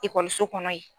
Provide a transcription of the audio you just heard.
Ekɔliso kɔnɔ yen